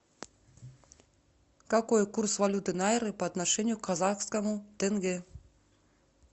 какой курс валюты найры по отношению к казахскому тенге